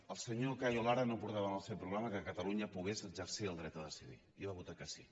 el senyor cayo lara no portava en el seu programa que catalunya pogués exercir el dret a decidir i va votar que sí